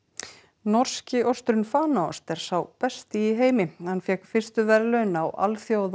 norski osturinn Fanaost er sá besti í heimi hann fékk fyrstu verðlaun á Alþjóða